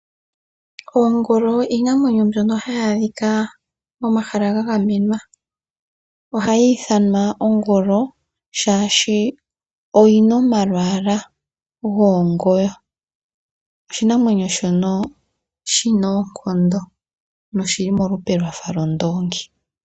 Oongolo iinamwenyo mbyono hayi adhika momahala ga gamenwa. Ohayi ithanwa oongolo oshoka oyina omalwaala goongoyo. Oshinamwenyo shono shina oonkondo na oshili molupe lwondoongi .